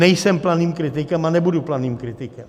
Nejsem planým kritikem a nebudu planým kritikem.